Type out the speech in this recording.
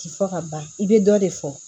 Ti fɔ ka ban i bɛ dɔ de fɔ